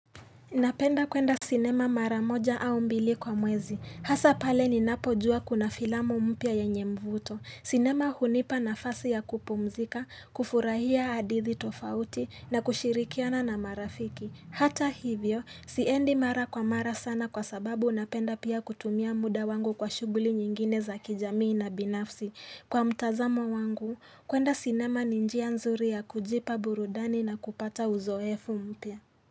Napenda kuenda sinema mara moja au mbili kwa mwezi. Hasa pale ninapojua kuna filamu mpya yenyemvuto. Sinema hunipa nafasi ya kupumzika, kufurahia hadithi tofauti na kushirikiana na marafiki. Hata hivyo, siendi mara kwa mara sana kwa sababu napenda pia kutumia muda wangu kwa shughuli nyingine za kijamii na binafsi. Kwa mtazamo wangu, kuenda sinema ni njia nzuri ya kujipa burudani na kupata uzoefu mpya.